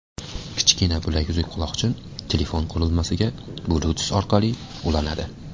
Kichkina bilaguzuk-quloqchin telefon qurilmasiga bluetooth orqali ulanadi.